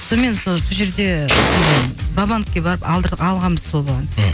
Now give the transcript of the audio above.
солмен сол жерде сондай бабановқа барып алғанбыз сол баланы ммм